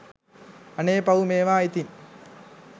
අනේ පව් මේවා ඉතින්